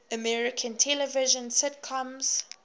american television sitcoms